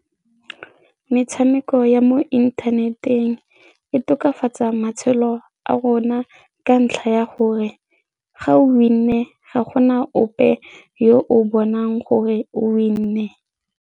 Metshameko ya mo inthaneteng e tokafatsa matshelo a rona ka ntlha ya gore ga o win-e ga gona ope yo o bonang gore o win-e.